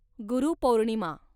Guru Purnima